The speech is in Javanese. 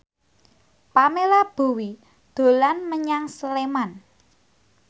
Pamela Bowie dolan menyang Sleman